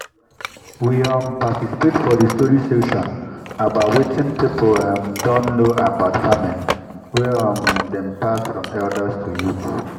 we um participate for the story session about watin people um don know about farming wey um dem pass down form elders to youth